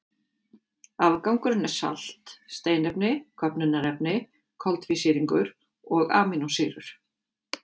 Afgangurinn er salt, steinefni, köfnunarefni, koltvísýringur og amínósýrur.